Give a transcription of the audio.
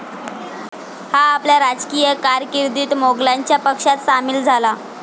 हा आपल्या राजकीय कारकिर्दीत मोघलांच्या पक्षात सामील झाला.